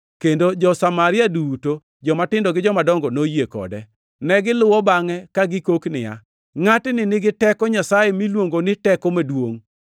kendo jo-Samaria duto, jomatindo gi jomadongo, noyie kode. Negiluwo bangʼe ka gikok niya, “Ngʼatni nigi teko Nyasaye miluongo ni Teko Maduongʼ.”